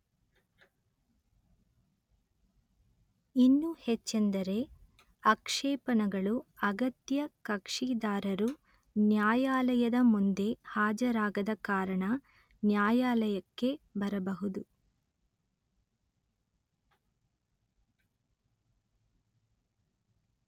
ಇನ್ನೂ ಹೆಚ್ಚೆಂದರೆ ಆಕ್ಷೇಪಣೆಗಳು ಅಗತ್ಯ ಕಕ್ಷಿದಾರರು ನ್ಯಾಯಾಲಯದ ಮುಂದೆ ಹಾಜರಾಗದ ಕಾರಣ ನ್ಯಾಯಾಲಯಕ್ಕೆ ಬರಬಹುದು